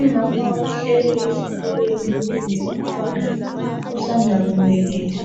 umama uhleli esitulweni ulinde umntwana usanda kubeletha